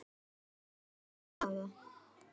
Byrjaði með ömmu og afa